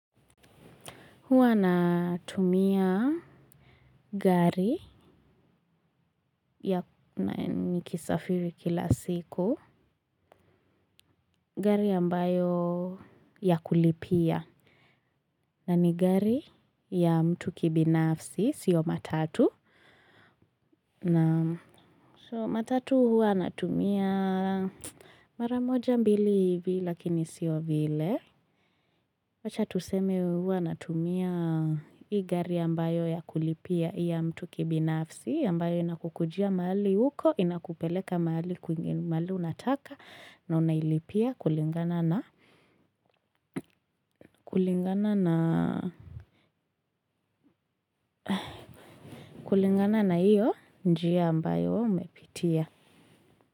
Huwa natumia gari ya nikisafiri kila siku. Gari ambayo ya kulipia. Na ni gari ya mtu kibinafsi, sio matatu. Na so matatu huwa natumia maramoja mbili hivi lakini sio vile. Wacha tuseme huwa natumia hii gari ambayo ya kulipia ya mtu kibinafsi. Ambayo inakukujia mahali huko, inakupeleka mahali unataka na unailipia kulingana na na iyo njia ambayo umepitia.